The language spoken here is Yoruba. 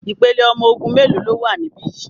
Ìpele ọmọ ogun mélòó ló wà níbí yìí?